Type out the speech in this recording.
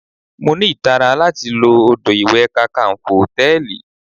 Mo ní ìtara láti lo odò ìwẹ̀ Kakanfo Hòtẹ́lìì.